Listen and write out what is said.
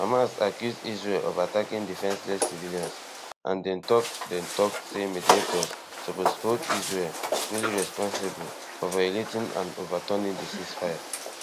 hamas accuse israel of attacking defenceless civilians and dem tok dem tok say mediators suppose hold israel fully responsible for violating and overturning di ceasefire